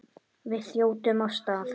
Við þjótum af stað.